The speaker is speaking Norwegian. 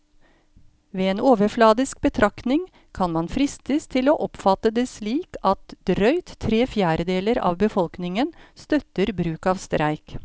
Ved en overfladisk betraktning kan man fristes til å oppfatte det slik at drøyt tre fjerdedeler av befolkningen støtter bruk av streik.